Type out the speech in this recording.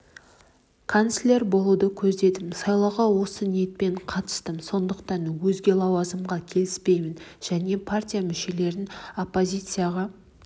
канцлер болуды көздедім сайлауға осы ниетпен қатыстым сондықтан өзге лауазымға келіспеймін және партия мүшелеріне оппозицияға